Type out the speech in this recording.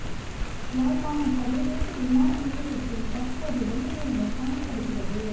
யாழ்ப்பாணம் சர்வதேச விமான நிலையத்தில் தற்போது வெள்ள நிலைமை காணப்படுகிறது